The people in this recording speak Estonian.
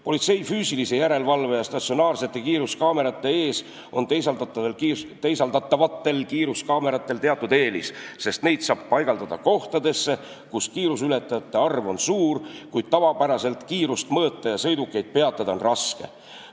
Politsei füüsilise järelevalve ja statsionaarsete kiiruskaamerate ees on teisaldatavatel kiiruskaameratel teatud eelis, sest neid saab paigaldada kohtadesse, kus kiiruseületajate arv on suur, kuid tavapäraselt kiirust mõõta ja sõidukeid peatada on raske.